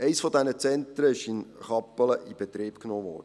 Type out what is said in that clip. Eines dieser Zentren wurde in Kappelen in Betrieb genommen.